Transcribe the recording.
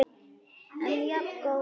En jafngóð fyrir því!